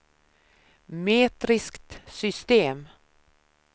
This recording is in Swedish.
metriskt system